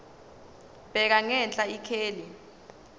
bheka ngenhla ikheli